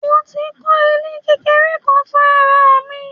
Mo tí ń kó ilé kékeré kan fún ara mi.